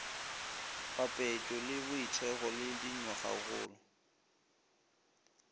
papetšo le boithekgo le dinywagakgolo